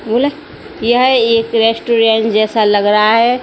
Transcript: यह एक रेस्टोरेंट जैसा लग रहा है।